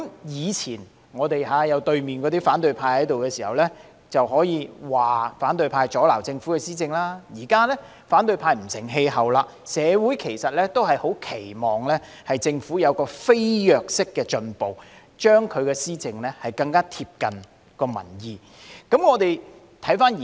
以前有反對派坐在對面時，我們可以說反對派阻撓政府施政，但現在反對派已不成氣候，社會十分期望政府有飛躍式的進步，令施政更貼近民意。